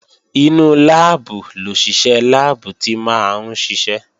Inú láàbù lòṣìṣẹ́ láàbù tí máa ń ṣiṣẹ́